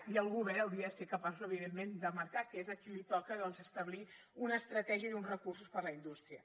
i el govern hauria de ser capaç evidentment de marcar que és a qui li toca doncs establir una estratègia i uns recursos per a la indústria